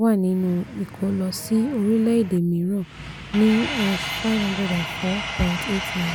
wà nínú ìkó lọ sí orílẹ̀ èdè mìíràn ní #504.89.